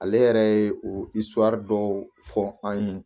Ale yɛrɛ ye o dɔw fɔ an ye